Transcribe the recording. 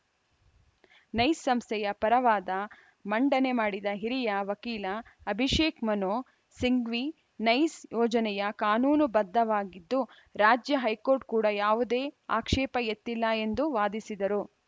nice ಸಂಸ್ಥೆಯ ಪರ ವಾದ ಮಂಡನೆ ಮಾಡಿದ ಹಿರಿಯ ವಕೀಲ ಅಭಿಷೇಕ್‌ ಮನು ಸಿಂಘ್ವಿ ನೈಸ್‌ ಯೋಜನೆಯ ಕಾನೂನು ಬದ್ಧವಾಗಿದ್ದು ರಾಜ್ಯ ಹೈಕೋರ್ಟ್‌ ಕೂಡ ಯಾವುದೇ ಆಕ್ಷೇಪ ಎತ್ತಿಲ್ಲ ಎಂದು ವಾದಿಸಿದರು